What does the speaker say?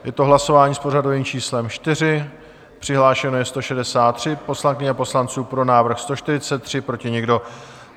Je to hlasování s pořadovým číslem 4, přihlášeno je 163 poslankyň a poslanců, pro návrh 143, proti nikdo.